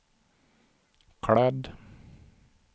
klädd